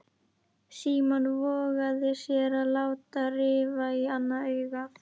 Símon vogaði sér að láta rifa í annað augað.